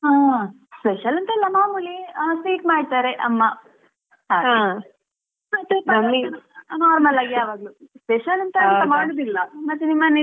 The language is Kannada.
ಹಾ special ಎಂತಿಲ್ಲ ಮಾಮೂಲಿ sweet ಮಾಡ್ತಾರೆ ಅಮ್ಮಾ normal ಆಗೇ ಯಾವಾಗ್ಲೂ special ಅಂತ ಎಂತ ಮಾಡುದಿಲ್ಲಾ ಮತ್ತೆ ನಿಮ್ಮ್ ಮನೆಯಲ್ಲಿ?